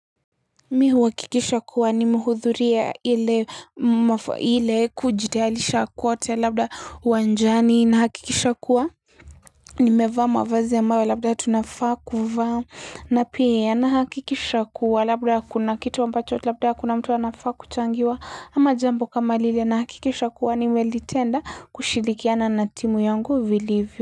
Mimi huhakikisha kuwa nimehudhuria ile kujitayarisha kwote labda uwanjani nahakikisha kuwa nimevaa mavazi ambayo labda tunafaa kuvaa na pia nahakikisha kuwa labda kuna kitu ambacho labda kuna mtu anafaa kuchangiwa ama jambo kama lile nahakikisha kuwa nimelitenda kushirikiana na timu yangu vilivyo.